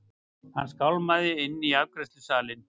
Hann skálmaði inn í afgreiðslusalinn.